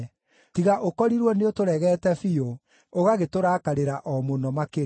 tiga ũkorirwo nĩũtũregeete biũ, ũgagĩtũrakarĩra o mũno makĩria.